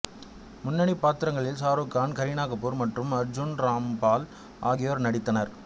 முன்னணிப் பாத்திரங்களில் சாருக் கான் கரீனா கபூர் மற்றும் அர்ஜூன் ராம்பால் ஆகியோர் நடித்தனர்